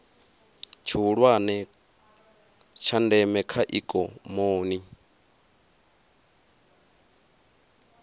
tshihulwane tsha ndeme kha ikomoni